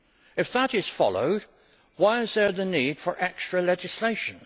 If that is followed, why is there the need for extra legislation?